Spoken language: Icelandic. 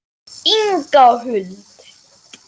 Inga Huld.